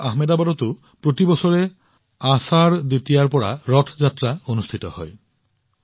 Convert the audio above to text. গুজৰাটৰ আহমেদাবাদত প্ৰতি বছৰে আষাধা দ্বিতীয়াৰ পৰা ৰথ যাত্ৰাও অনুষ্ঠিত হয়